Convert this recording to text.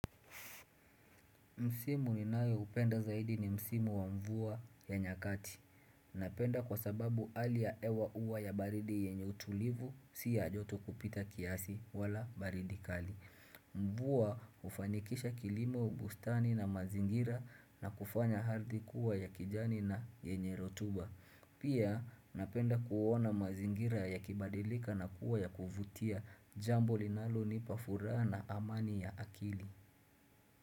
Msimu ninayo upenda zaidi ni msimu wa mvua ya nyakati. Napenda kwa sababu hali ya hewa huwa ya baridi yenye utulivu si ya joto kupita kiasi wala baridi kali. Mvua hufanikisha kilimo bustani na mazingira na kufanya ardhi kuwa ya kijani na yenye rotuba. Pia napenda kuona mazingira ya kibadilika na kuwa ya kuvutia jambo linalo nipa furaha na amani ya akili.